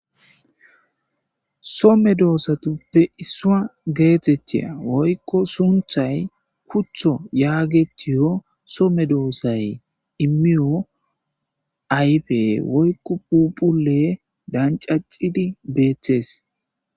So medosatupe isuwa geetetiya woyko suumetiya sunthay kutho yaagetiyo so medosay imiyo ayfe woyko phuphule damcacidi beetes.